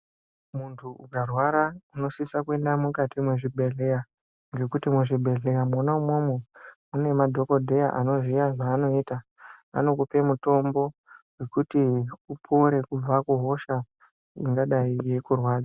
Munthu ukarwara unosisa kuenda mukati mwezvibhedhleya ,ngekuti muzvibhedhleya mwona umwomwo, mune madhokodheya anoziya zvaanoita. Anokupe mitombo yekuti upore kubva kuhosha ingadai yeikurwadza.